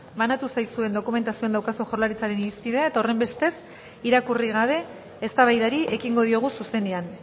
banatu zaizuen dokumentazioan daukazue jaurlaritzaren irizpidea eta horrenbestez irakurri gabe eztabaidari ekingo diogu zuzenean